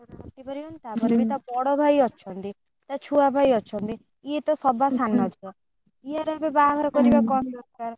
କଥା କାଟି ପାରିବନି ତାପରେ ବି ତା ବଡ ଭାଇ ବି ଅଛନ୍ତି ତା ଛୁଆ ଭାଇ ଅଛନ୍ତି ଇଏ ତ ସଭା ସାନ ଝୁଅ ଇଆର ଏବେ ବାହାଘର କରିବା ଉଁ କଣ ଦରକାର।